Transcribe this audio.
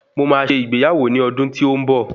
Mo máa ṣe ìgbéyàwó ní ọdún tí ó ń bọ̀